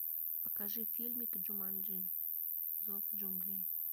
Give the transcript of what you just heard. покажи фильмик джуманджи зов джунглей